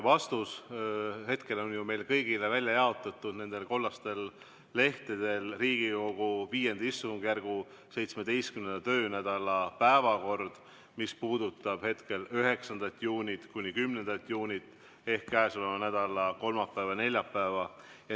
Vastus on ju meile kõigile välja jaotatud nendel kollastel lehtedel, Riigikogu V istungjärgu 17. töönädala päevakord, mis puudutab hetkel 9. juunit – 10. juunit ehk käesoleva nädala kolmapäeva ja neljapäeva.